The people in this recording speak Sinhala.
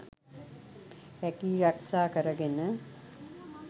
රැකී රක්‍ෂා කරගෙන